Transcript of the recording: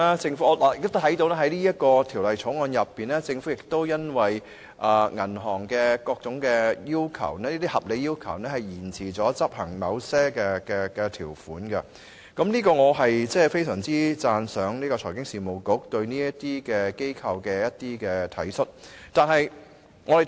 就《2017年銀行業條例草案》而言，政府已因應銀行業的各種合理要求而延遲執行某些條款，對此我非常讚賞財經事務及庫務局對這些機構的體恤。